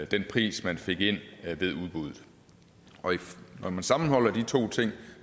den pris man fik ind ved udbuddet og når man sammenholder de to ting